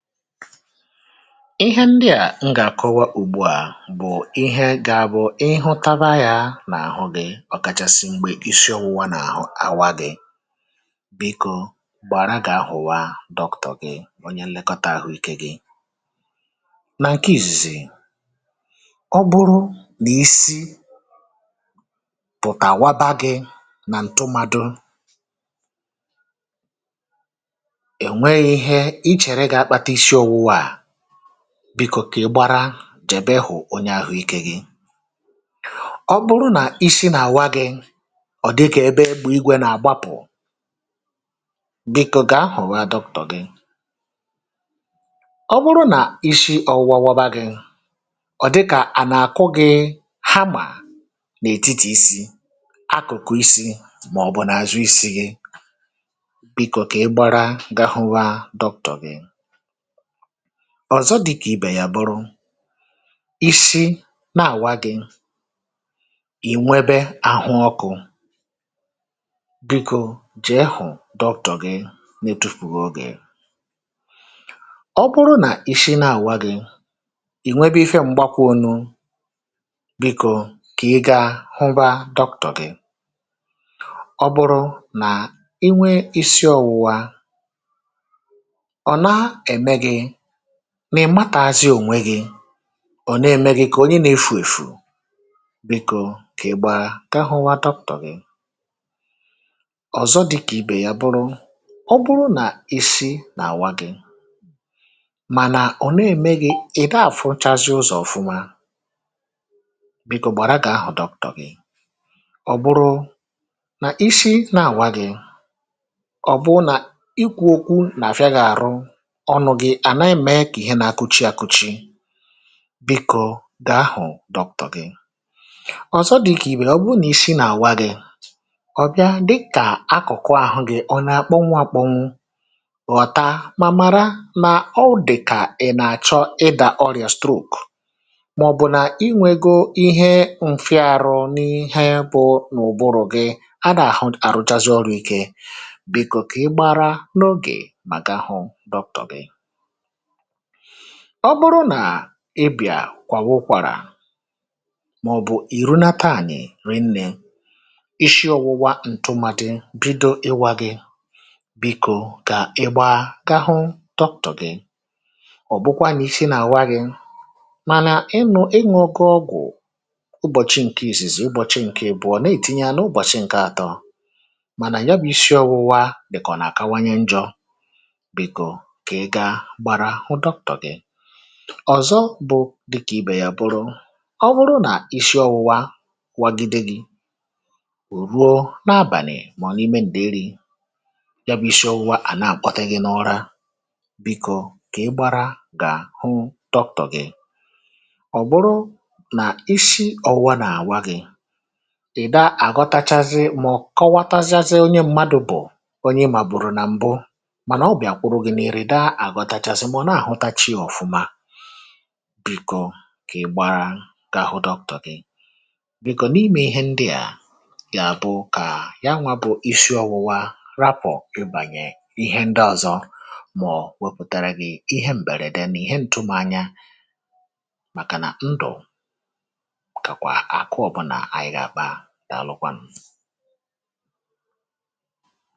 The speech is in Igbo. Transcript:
ihe ndịà m gà-àkọwa ùgbù à, bụ̀ ihe gà-abụ̀ ịhụ̇taba yȧ n’àhụ gị̇, ọ̀kàchàsị̀ mgbè isiȯwu̇wȧ n’àhụ àwa gị̇. bikȯ gbàrà, gà-ahụ̀wa dr. g, ọnyẹ lekọta àhụikẹ̇ gị nà nke ìzìzì. ọ bụrụ nà isi pụ̀tàwaba gị̇ nà ǹtụmadụ̇, bikȯkè gbara, jèbe ị hụ̀ onye àhụikė gị. ọ bụrụ nà isi̇ nà-àwa gị̇, ọ̀ dịkà ebe ebù igwė nà-àgbapụ̀, bikȯ gà-ahụ̀wa dọpụ̀tọ̀ gị̇. ọ bụrụ nà isi̇ ọ wụ̇wȧ wọbȧ gị, ọ̀ dịkà à nà-àkụ gị̇ hammer n’ètitì isi̇, akụ̀kụ̀ isi, màọ̀bụ̀ nà-àzụ isi̇ gị, bikȯkè gbara, gahụwa dọpụ̀tọ̀ gị̇. ọ̀zọ dịkà ibè yà, bụrụ isi na-àwa gị̇, ì nwebe àhụ ọkụ̇, bikȯ jì e hụ̀ dọktọ̀ gị, netwoopùwo ogè. ọ bụrụ nà isi na-àwa gị̇, ì nwebe ife mgbakwa onu, bikȯ kà ịgȧ hụba dọkụ̀kụ̀ gị̇. ọ bụrụ nà inwe isi ọwụ̇wȧ nà-èmatàzi ònwe gị̇, ọ̀zọ ème gị̇ kà onye nȧ-efù èfù, beė kà ǹgbagha, kà ahụ̇ nwa dr. gi. ọ̀zọ di kà ibè ya, bụrụ ọ̀ bụrụ nà isi n’àwa gị̇, mànà ọ̀ n’ème gị, ị̀ dàfụchazị ụzọ̀ ọ̀fụma, beė kà ò gbàrà, gà ahụ̀ dọpụ̀tọ̀ gị̇. ọ̀ bụrụ nà isi nȧ-àwa gị̇, ọ̀ bụ nà ikwu̇ okwu nà-àfịa gị̇, àrụ ǹdewȯ dọ̀kụ̀chà. ọ̀zọ dị̀kà ìbe, ọ̀ bụrụ nà isi nà àwa gị̇, ọ̀ ya dịkà akụ̀kụ àhụ gị̇, ọ nà akpọ nwȧ kpọ nwụ̇ ọ̀ta, mà màra nà ọ dị̀kà ị̀ nà-àchọ ịdà orịa stroke, mà ọ̀ bụ̀ nà inwėgo ihe mfịa arụ n’ihe bụ n’ụbụrụ̇ gị. a nà-àhụ àrụchasị ọrụ̇ ike. bikȯ kà ị gbara n’ogè, mà gahụ. ọ bụrụ nà ibì à kwàwụ ụkwàrà, màọ̀bụ̀ ì runata à nà-èri nnė, ishi ọ̇wụwa ǹtụmàdị bido ịwȧ gị, bikȯ kà igbȧgȧhu tọtụ̀gị. ọ̀ bụkwa nà i shi nà àwa gị̇, mànà ị nụ̇, enwė oge ọgwụ̀ ụbọ̀chị ǹke èzèzè, ụbọ̀chị ǹke bụ̀ ọ̀ nà-ètinye ȧnȧ, ụbọ̀chị ǹke àtọ, mànà ya bụ̇ ishi ọ̇wụ̇wȧ, bìkò nà àkawanye njọ̇. ọ̀zọ bụ̀ dịkà ibè yà, bụrụ ọ̀ bụrụ nà isi ọwụwa kwagide gị, ruo na-abànì, mà ọ̀nọ̀ imė, ǹdị̀ iri̇, ya bụ̇ isi ọwụwa à na-àkwọtaghị n’ụra. bịkọ̇ kà ị gbȧrȧ gà hụ dr. gi. ọ̀ bụrụ nà isi ọwụwa nà àwa gị̇, ị̀ da àgọtachazị, mà ọ̀ kọwatazịazị onye mmadụ̇, bụ̀ onye mà, bụ̀rụ̇ nà mbụ. bikò kà ị gbara, ga-ahụ dọ. kà gị. bikò n’imė ihe ndị à, gàà bụ kà yanwa, bụ̇ isi ọwụwȧ, rapụ̀ ịbànyè ihe ndị ọ̀zọ, màọ̀ wepùtara gị̇ ihe m̀bèrède nà ihe ǹtụmȧ anya, màkà nà ndụ̀ kàkwà àkụ, ọ̀bụna ànyị ga kpàa. dàalụkwanụ̀.